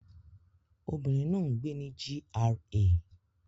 Obìnrin náà ń gbé ní GRA